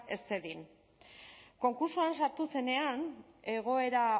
ez zedin konkurtsoan sartu zenean egoera